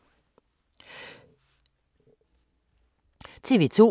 TV 2